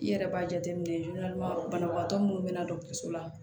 I yɛrɛ b'a jateminɛ banabagatɔ minnu bɛ na dɔgɔtɔrɔso la